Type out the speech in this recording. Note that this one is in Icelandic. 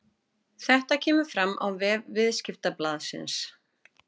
Þetta kemur fram á vef Viðskiptablaðsins